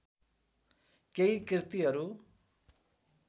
केही कृतिहरू